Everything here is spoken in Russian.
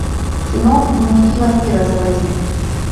кино дневники вампира заводи